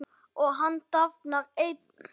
Og hann dafnar enn.